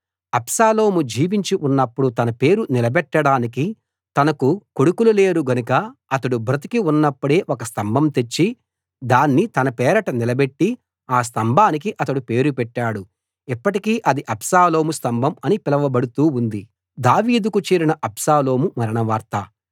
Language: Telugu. అబ్షాలోము జీవించి ఉన్నప్పుడు తన పేరు నిలబెట్టడానికి తనకు కొడుకులు లేరు గనక అతడు బ్రదికి ఉన్నప్పుడే ఒక స్తంభం తెచ్చి దాన్ని తన పేరట నిలబెట్టి ఆ స్తంభానికి అతని పేరు పెట్టాడు ఇప్పటికీ అది అబ్షాలోము స్తంభం అని పిలువబడుతూ ఉంది